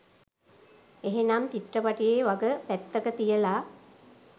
එහෙමනම් චිත්‍රපටියෙ වග පැත්තක තියල